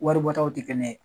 Wari bɔ taw tɛ kɛnɛ.